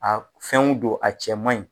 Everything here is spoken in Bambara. A fɛnw don a cɛ man ɲi